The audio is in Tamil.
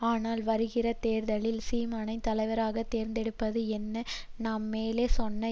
அதனால் வருகிற தேர்தலில் சீமானை தலைவராக தேர்ந்தெடுப்பது என நாம் மேலே சொன்ன